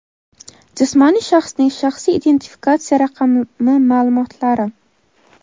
jismoniy shaxsning shaxsiy identifikatsiya raqami maʼlumotlari;.